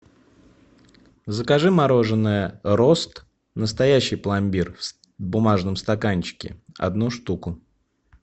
закажи мороженое рост настоящий пломбир в бумажном стаканчике одну штуку